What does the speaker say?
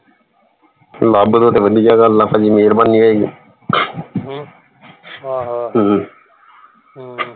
ਲੱਭ ਦੋ ਤੇ ਵਧੀਆ ਗੱਲ ਆ ਪਾਜੀ ਮੇਹਰਬਾਨੀ ਹੈ ਆਹੋ ਹਮ